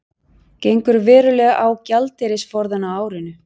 Gengur verulega á gjaldeyrisforðann á árinu